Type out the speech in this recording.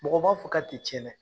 Mɔgɔ m'a fɔ ka ti tiɲɛ dɛ!